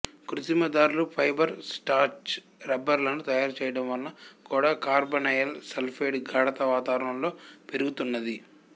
కృత్తిమ దారాలు fibre starch రబ్బరులను తయారు చెయ్యడం వలన కూడా కార్బొనైల్ సల్ఫైడ్ గాఢత వాతావరణంలో పెరుగుతున్నది